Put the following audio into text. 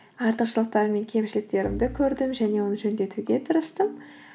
артықшылықтар мен кемшіліктерімді көрдім және оны жөндетуге тырыстым